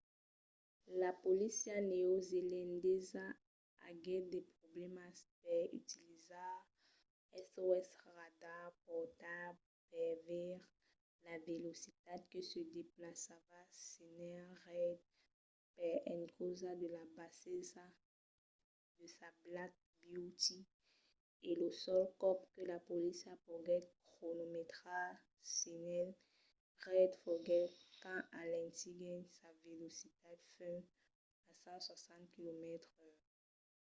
la polícia neozelandesa aguèt de problèmas per utilizar sos radars portables per veire la velocitat que se desplaçava sénher reid per encausa de la bassesa de sa black beauty e lo sol còp que la polícia poguèt cronometrar sénher reid foguèt quand alentiguèt sa velocitat fins a 160 km/h